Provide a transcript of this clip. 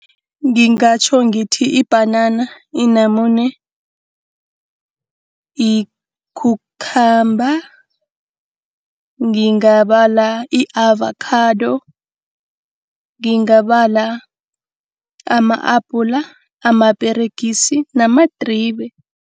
Ngingatjho ngithi ibhanana, inamune, i-cucumber. Ngingabala i-avokhado, ngingabala ama-abhula, amaperegisi namadribe.